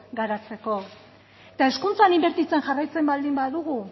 garatzeko eta hezkuntzan inbertitzen jarraitzen baldin badugu